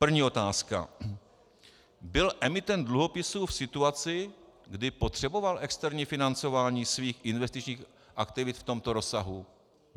První otázka: Byl emitent dluhopisů v situaci, kdy potřeboval externí financování svých investičních aktivit v tomto rozsahu?